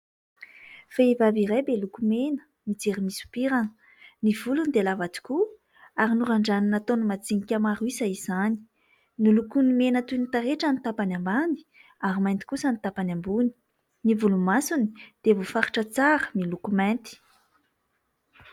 Vehivavy iray be lokomena, mijery misompirana. Ny volony dia lava tokoa, ary norandraniny nataony madinika maro isa izany. Nolokoiny mena toy ny taretra ny tapany ambany, ary mainty kosa ny tapany ambony. Ny volomasony dia voafaritra tsara, miloko mainty.